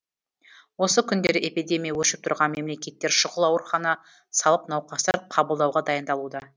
осы күндері эпидемия өршіп тұрған мемлекеттер шұғыл аурухана салып науқастар қабылдауға дайындалуда